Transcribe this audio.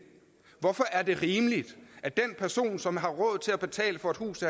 hvorfor er det rimeligt at den person som har råd til at betale for et hus